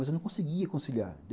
Mas eu não conseguia conciliar.